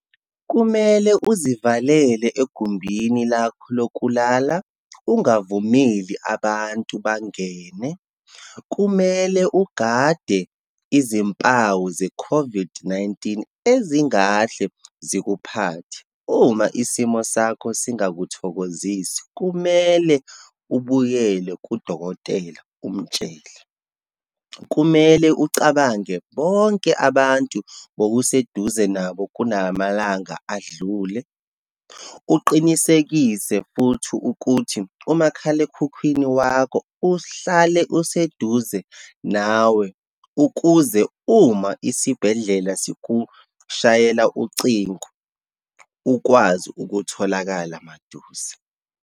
Kumele uzivalele egumbini lakho lokulala, ungavumeli abantu bangene. Kumele ugade izimpawu ze-COVID-19 ezingahle zikuphathe. Uma isimo sakho singakuthokozisi, kumele ubuyele kudokotela umtshele. Kumele ucabange bonke abantu bowuseduze nabo kulamalanga adlule. Uqinisekise futhi ukuthi umakhalekhukhwini wakho uhlale useduze nawe, ukuze uma isibhedlela sikushayela ucingo ukwazi ukutholakala maduze.